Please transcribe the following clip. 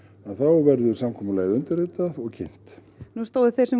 þá verður samkomulagið undirritað og kynnt nú stóðu þeir